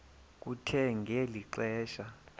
kuthe ngeli xesha